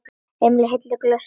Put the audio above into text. Emil hellti í glösin þeirra.